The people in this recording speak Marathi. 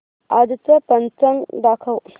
आजचं पंचांग दाखव